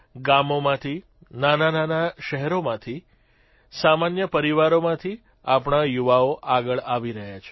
ગામોમાંથી નાના શહેરોમાંથી સામાન્ય પરિવારમાંથી આપણા યુવાઓ આગળ આવી રહ્યા છે